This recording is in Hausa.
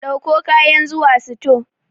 Ɗauko kayan zuwa sito.